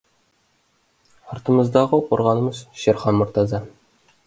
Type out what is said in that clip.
артымыздағы қорғанымыз шерхан мұртаза